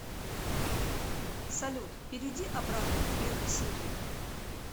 салют перейди обратно к первой серии